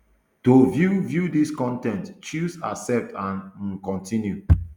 to view view dis con ten t choose accept and um continue